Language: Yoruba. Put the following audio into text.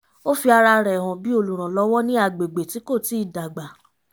ó fi ara rẹ̀ hàn bí olùrànlọ́wọ́ ní agbègbè tí kò tíì dágbà